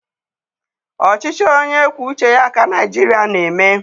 Ọchịchị onye kwuo uche ya ka Naịjiria na-eme.